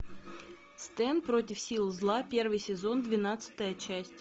стэн против сил зла первый сезон двенадцатая часть